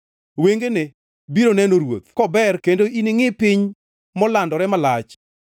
Wengeni biro neno ruoth kober kendo iningʼi piny molandore malach.